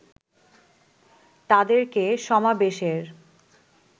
তাদেরকে সমাবেশের